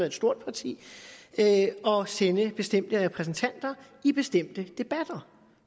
et stort parti at sende bestemte repræsentanter i bestemte debatter